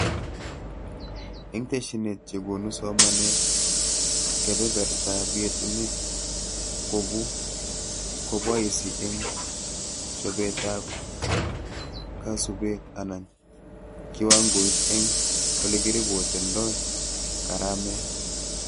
Eng tesyinet chekonu somanet kebebertaab yetunet kobu koboisi eng chobetab kasubet anan kiwangoit eng olekirepotendoi karamet